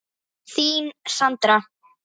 Þín, Sandra.